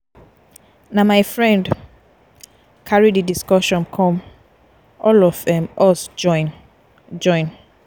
na my friend carry di discussion come all of um us join. join.